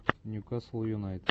ньюкасл юнайтед